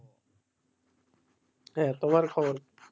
তোমার খবর কি?